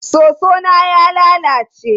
Soso na ya lalace.